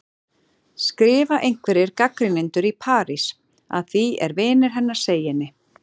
skrifa einhverjir gagnrýnendur í París, að því er vinir hennar segja henni.